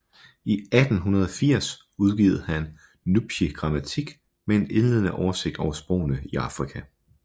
I 1880 udgav han Nubische Grammatik med en indledende oversigt over sprogene i Afrika